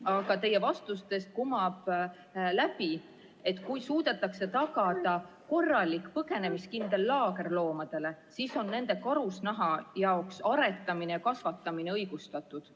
Aga teie vastustest kumab läbi, et kui suudetakse tagada korralik põgenemiskindel laager loomadele, siis on nende karusnaha jaoks aretamine ja kasvatamine õigustatud.